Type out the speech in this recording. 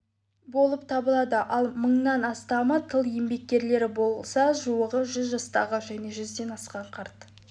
болып табылады ал мыңнан астамы тыл еңбеккерлері болса жуығы жүз жастағы және жүзден асқан қарт